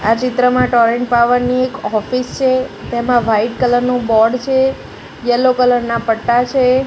આ ચિત્રમાં Torrent Power ની એક ઓફિસ છે તેમાં વાઈટ કલર નું બોર્ડ છે યેલ્લો કલર ના પટ્ટા છે.